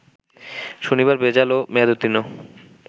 শনিবার ভেজাল ও মেয়াদোত্তীর্ন